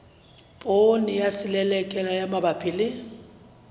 poone ya selelekela mabapi le